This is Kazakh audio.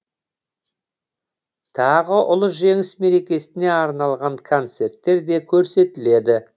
тағы ұлы жеңіс мерекесіне арналған концерттер де көрсетіледі